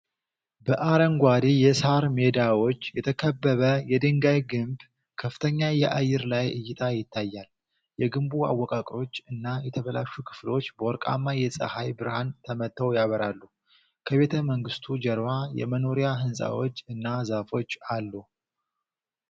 በአረንጓዴ የሳር ሜዳዎች የተከበበ የድንጋይ ግንብ ከፍተኛ የአየር ላይ እይታ ይታያል። የግንቡ አወቃቀሮች እና የተበላሹ ክፍሎች በወርቃማ የፀሐይ ብርሃን ተመተው ያበራሉ። ከቤተመንግስቱ ጀርባ የመኖሪያ ሕንፃዎች እና ዛፎች አሉ።